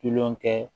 Kilokɛ